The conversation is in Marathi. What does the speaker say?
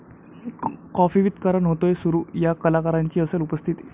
काॅफी विथ करण' होतोय सुरू, 'या' कलाकारांची असेल उपस्थिती